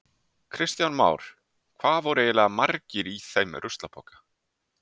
Kristján Már: Hvað voru eiginlega margir í þeim ruslapoka?